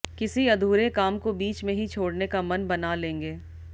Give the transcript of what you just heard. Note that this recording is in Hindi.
किसी अधूरे काम को बीच में ही छोडऩे का मन बना लेंगे